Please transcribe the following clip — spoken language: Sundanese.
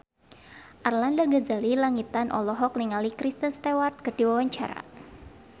Arlanda Ghazali Langitan olohok ningali Kristen Stewart keur diwawancara